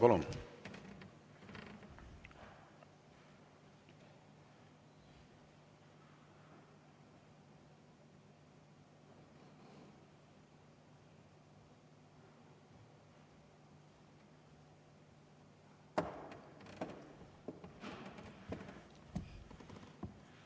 Palun!